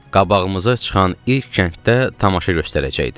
Qabağımıza çıxan ilk kənddə tamaşa göstərəcəkdim.